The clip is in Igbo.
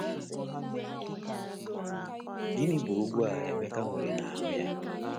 Gịnị bụ ogwu a Emeka nwere n’anụ ahụ́ ya?